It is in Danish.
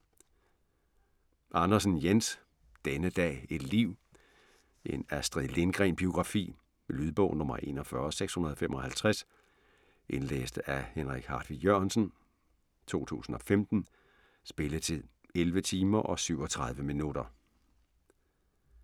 Andersen, Jens: Denne dag, et liv: en Astrid Lindgren-biografi Lydbog 41655 Indlæst af Henrik Hartvig Jørgensen, 2015 Spilletid: 11 timer og 37 minutter.